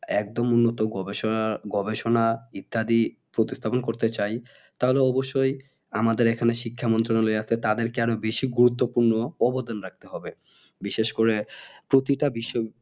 একদম উন্নত গবেষনা গবেষণা ইত্যাদি প্রতিস্থাপান করতে চাই তাহলে অবশ্যই আমাদের এখানে শিক্ষা মন্ত্রালয় আছে তাদেরকে আর বেশি গুরুত্বপূর্ণ অবদান রাখতে হবে বিশেষ করে প্রতিটা বিশ্ব